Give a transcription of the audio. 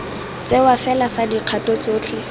tsewa fela fa dikgato tsotlhe